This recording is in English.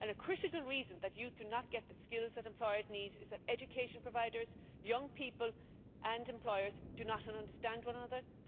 A critical reason that youth do not get the skills that employers need is that education providers, young people and employers do not understand one another.